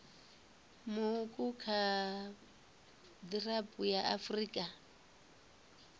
muuku kha gdp ya afrika